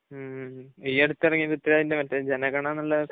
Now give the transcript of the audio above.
ഉം. ഈ അടുത്ത് ഇറങ്ങിയ പ്രിഥ്വിരാജിന്റെ മറ്റേ ജനഗണ എന്നുള്ള ആ